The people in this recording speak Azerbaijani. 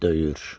Döyür.